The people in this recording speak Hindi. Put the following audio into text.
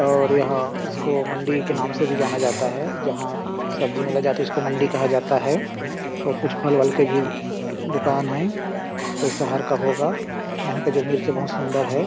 और यहाँ इसको मंडी के नाम से भी जाना जाता है जहाँ सब्जी मिला जाता है उसे मंडी खा जाता है अउ कुछ फल-वल का भी दुकान है कब होगा मिर्ची बहुत सुंदर है।